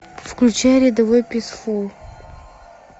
включай рядовой писфул